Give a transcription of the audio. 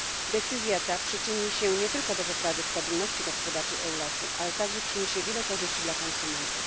Decyzja ta przyczyni się nie tylko do poprawy stabilności gospodarczej Europy, ale także przyniesie wiele korzyści konsumentom.